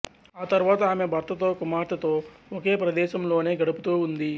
ఆతరువాత ఆమె భర్తతో కుమార్తెతో ఒకే ప్రదేశంలోనే గడుపుతూ ఉంది